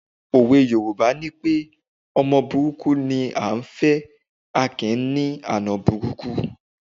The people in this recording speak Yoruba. Òwe Yorùbá nipé ọmọ burúkú ni à á fẹ̀, a kì í ní àna burúkú